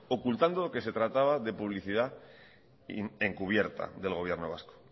ocultando que se trataba de publicidad encubierta del gobierno vasco